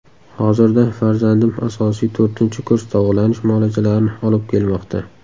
Hozirda farzandim asosiy to‘rtinchi kurs davolanish muolajalarini olib kelmoqda.